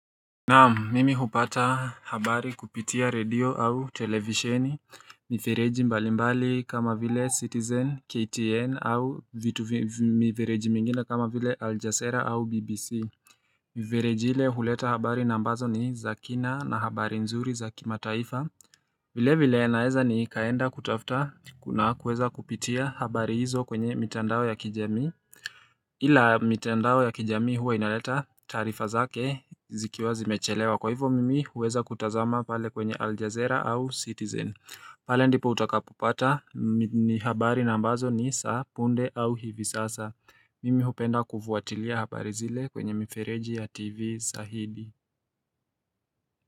Naam mimi hupata habari kupitia radio au televisheni Mivereji mbali mbali kama vile citizen KTN au mivereji mingine kama vile aljasera au BBC Mivereji ile huleta habari nambazo ni zakina na habari nzuri za kimataifa vile vile naeza nikaenda kutafta na kuweza kupitia habari hizo kwenye mitandao ya kijamii Hila mitendao ya kijami huwa inaleta tarifa zake zikiwa zimechelewa kwa hivo mimi uweza kutazama pale kwenye Aljazera au Citizen pale ndipo utakapupata ni habari na ambazo ni za punde au hivi sasa Mimi upenda kufuatilia habari zile kwenye mifereji ya TV zaidi.